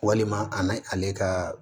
Walima ani ale ka